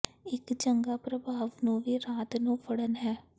ਇੱਕ ਚੰਗਾ ਪ੍ਰਭਾਵ ਨੂੰ ਵੀ ਰਾਤ ਨੂੰ ਫੜਨ ਹੈ